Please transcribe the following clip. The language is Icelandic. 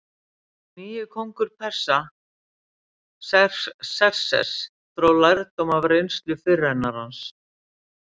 En hinn nýi kóngur Persa, Xerxes, dró lærdóm af reynslu fyrirrennarans.